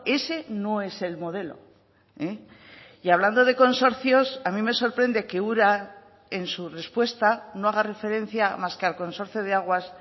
ese no es el modelo y hablando de consorcios a mí me sorprende que ura en su respuesta no haga referencia más que al consorcio de aguas